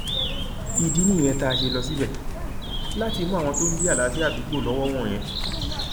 ìdí nìyẹn tá a ṣe lọ síbẹ láti mú àwọn tó ń dí àlàáfíà àdúgbò lọwọ wọnyẹn